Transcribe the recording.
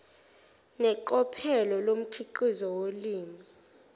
neqophelo lomkhiqizo wolimi